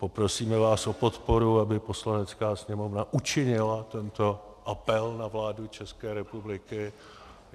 Poprosíme vás o podporu, aby Poslanecká sněmovna učinila tento apel na vládu České republiky.